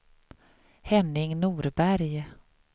Henning Norberg